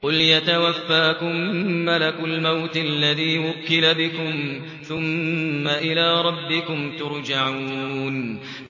۞ قُلْ يَتَوَفَّاكُم مَّلَكُ الْمَوْتِ الَّذِي وُكِّلَ بِكُمْ ثُمَّ إِلَىٰ رَبِّكُمْ تُرْجَعُونَ